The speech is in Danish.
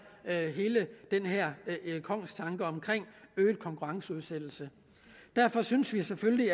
kongstanken omkring øget konkurrenceudsættelse derfor synes vi selvfølgelig